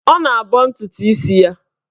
Ọ na-abọ ntụtụ isi ya.